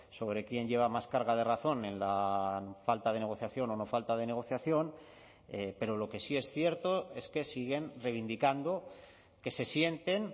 sobre quién lleva más carga de razón en la falta de negociación o no falta de negociación pero lo que sí es cierto es que siguen reivindicando que se sienten